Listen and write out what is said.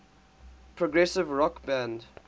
progressive rock band